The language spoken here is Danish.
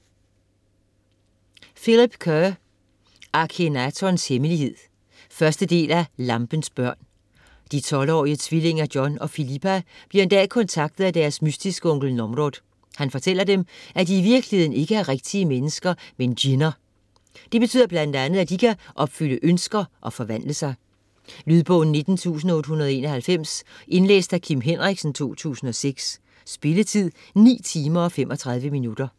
Kerr, Philip: Akhenatons hemmelighed 1. del af Lampens børn. De 12-årige tvillinger John og Philippa bliver en dag kontaktet af deres mystiske onkel Nomrod. Han fortæller dem, at de i virkeligheden ikke er rigtige mennesker, men djinn'er. Det betyder bl.a., at de kan opfylde ønsker og forvandle sig. Lydbog 19891 Indlæst af Kim Henriksen, 2006. Spilletid: 9 timer, 35 minutter.